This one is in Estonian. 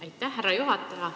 Aitäh, härra juhataja!